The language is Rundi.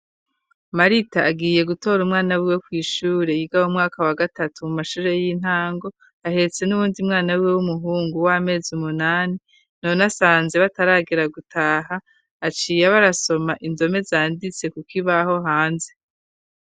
Marita agiye gutora umwana wiwe kw'ishure, yiga m'umwaka wa gatatu mu mashure y'intango, ahetse n'uwundi mwana wiwe w'umuhungu w'amezi umunani, none asanze bataragera gutaha, aciye aba arasoma indome zanditse ku kibaho hanze.